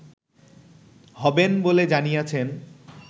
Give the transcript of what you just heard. হবেন বলে জানিয়েছেন